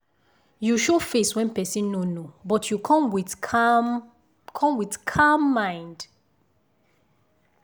you show face when person no know but you come with calm come with calm mind.